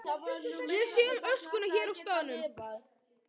Ég sé um öskuna hér á staðnum.